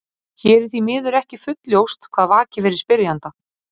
Hér er því miður ekki fullljóst hvað vakir fyrir spyrjanda.